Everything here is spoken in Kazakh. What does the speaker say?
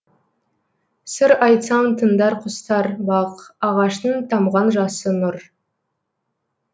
сыр айтсам тыңдар құстар бақ ағаштың тамған жасы нұр